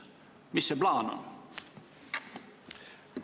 " Mis plaan see on?